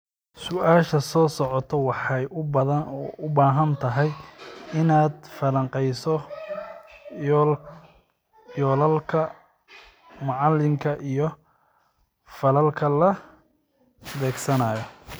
Su'aasha soo socota waxay u baahan tahay inaad falanqeyso yoolalka macalinka iyo falalka la beegsanayo